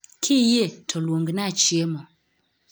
Kiyie to luongna chiemo